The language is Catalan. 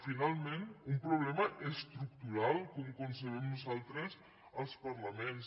finalment un problema estructural com ho concebem nosaltres als parlaments